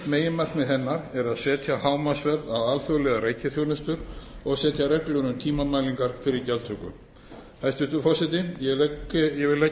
meginákvæði hennar er að setja hámarksverð á alþjóðlegar reikiþjónustu og setja reglur um tímamælingar fyrir gjaldtöku hæstvirtur forseti ég vil leggja